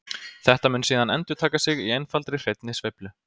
Þetta mun síðan endurtaka sig í einfaldri hreinni sveiflu.